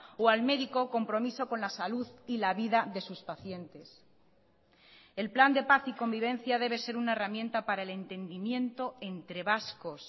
o al médico compromiso con la salud y la vida de sus pacientes el plan de paz y convivencia debe ser una herramienta para el entendimiento entre vascos